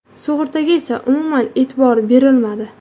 Sug‘urtaga esa umuman e’tibor berilmadi.